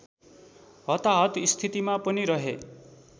हताहत स्थितिमा पनि रहे